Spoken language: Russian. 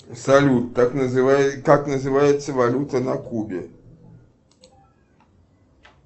салют как называется валюта на кубе